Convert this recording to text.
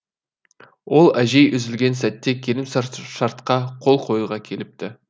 ол әжей үзілген сәтте келісімшартқа қол қоюға келіпті